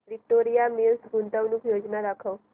Victoria Mills गुंतवणूक योजना दाखव